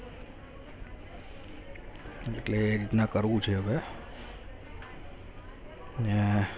એટલે એ રીતના કરવું છે હવે અને